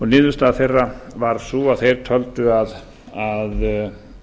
niðurstaða þeirra var sú að þeir töldu að